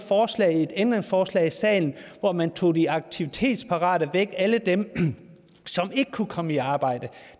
ændringsforslag i salen hvor man tog de aktivitetsparate væk alle dem som ikke kunne komme i arbejde